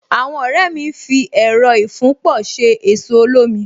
Àwọn ọ̀rẹ́ mi ń fi Ẹẹ̀rọ ìfúnpọ̀ ṣe ẹ̀so olómi